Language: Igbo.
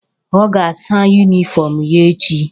Ọ ga-asa yunifọm ya echi.